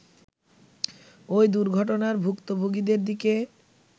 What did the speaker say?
ওই দুর্ঘটনার ভূক্তভোগিদের দিকে